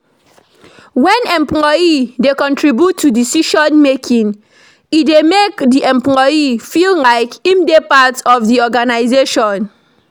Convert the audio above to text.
when employee dey contribute to decision making, e dey make di employee feel like im dey part of di organisation